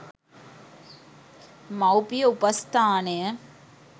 මවුපිය උපස්ථානය